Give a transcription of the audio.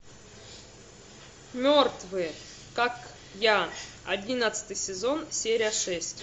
мертвые как я одиннадцатый сезон серия шесть